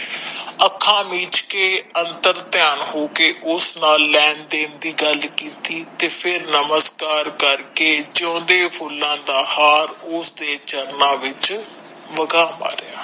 ਅੰਖਾਂ ਮੀਚ ਕੇ ਅੰਤਰਧਯਾਨ ਹੋਕੇ ਉੱਸ ਨਾਲ ਲੈਣ ਦੇਣ ਦੀ ਗੱਲ ਕੀਤੀ ਤੇ ਫੇਰ ਨਮਸ੍ਕਾਰ ਕਰਕੇ ਜੋਂਦੇ ਫੁਲਯਾ ਦਾ ਹਾਰ ਉਸਦੇ ਚਰਨਾਂ ਵਿਚ ਬਗਾ ਮਾਰਿਆ